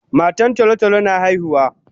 Matan tolo tolo na haihuwa